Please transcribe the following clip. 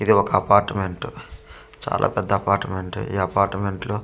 ఇది ఒక అపార్ట్మెంట్ చాలా పెద్ద అపార్ట్మెంట్ ఈ అపార్ట్మెంట్ లో ఎంతో మన--